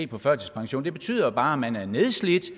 på førtidspension det betyder bare at man er nedslidt